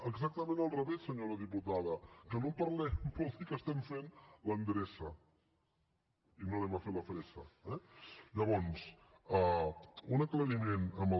exactament al revés senyora diputada que no en parlem vol dir que estem fent l’endreça i no anem a fer la fressa eh llavors un aclariment en el